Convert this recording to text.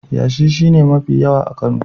Yashi shi ne mafi yawa a Kano.